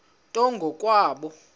nto ngo kwabo